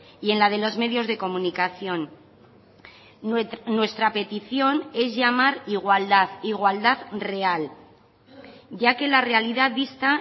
y en la de los medios de comunicación nuestra petición es llamar igualdad igualdad real ya que la realidad dista